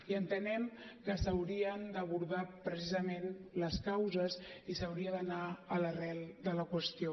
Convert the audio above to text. i entenem que s’haurien d’abordar precisament les causes i s’hauria d’anar a l’arrel de la qüestió